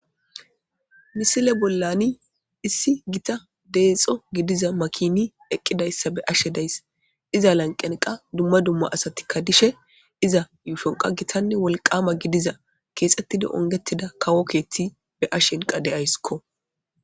misile bollani issi gita deexo gidiza makini eqqidayssa be ashe deys iza lanqenqa dumma dumma asatikka dishe iza yuufonqa gitanne wolqama gidiza keexettida ongetida kawo keethti be ashenqa deyayskko